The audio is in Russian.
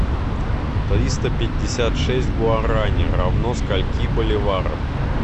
триста пятьдесят шесть гуарани равно скольки боливарам